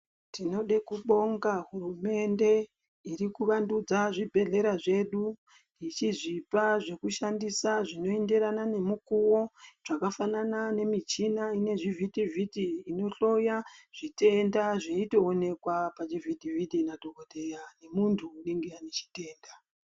Tinoda kubonga hurumende irikuvandudza zvibhehlera zvedu ichizvipa zvekushandisa zvinoenderana nemukuwo zvakafanana nemichina ine zvivhitivhiti inohloya zvitenda zvechitowonekwa pachivhitivhiti na dhokodheya nemunhu anenge ane chitenda.